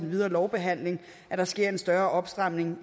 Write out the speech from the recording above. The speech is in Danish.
videre lovbehandling sker en større opstramning